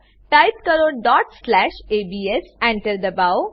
type કરો dot slash ABS Enter દબાવો